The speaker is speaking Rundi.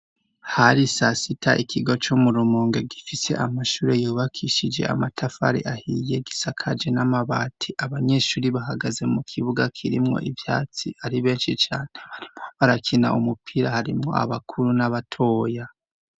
Hari sasita ikigo co mu rumunge gifise amashure yubakishije amatafari ahiye gisakaje n'amabati abanyeshuri bahagaze mu kibuga kirimwo ivyatsi ari benshi cane barimwo barakina umupira harimwo abakuru n'abatoya.